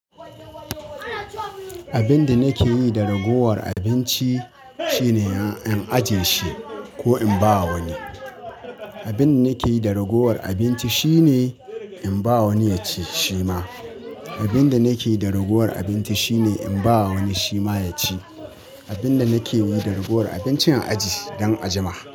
Abinda nake yi da ragowar abinci shine in ajiyeshi ko in bawa wani. Abin da nake yi da ragowar abinci shine in ba wani ya ci shi ma. Abin da nake yi da ragowar abinci shine in ba wani shi ma ya ci. Abinda nakeyi da ragowar abinci in ajiye don a jima.